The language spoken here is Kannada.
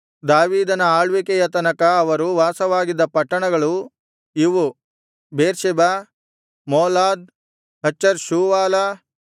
ದಾವೀದನ ಆಳ್ವಿಕೆಯ ತನಕ ಅವರು ವಾಸವಾಗಿದ್ದ ಪಟ್ಟಣಗಳು ಇವು ಬೇರ್ಷೆಬ ಮೋಲಾದ್ ಹಚರ್ ಷೂವಾಲ